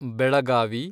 Belagavi